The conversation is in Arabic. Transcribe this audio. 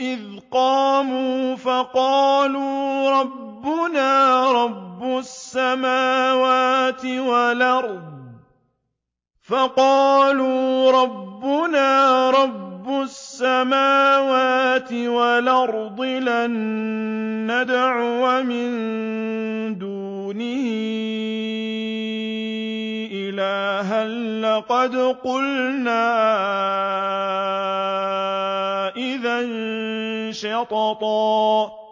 إِذْ قَامُوا فَقَالُوا رَبُّنَا رَبُّ السَّمَاوَاتِ وَالْأَرْضِ لَن نَّدْعُوَ مِن دُونِهِ إِلَٰهًا ۖ لَّقَدْ قُلْنَا إِذًا شَطَطًا